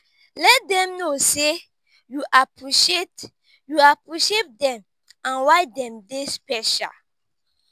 let dem no sey yu appreciate yu appreciate dem and why dem dey special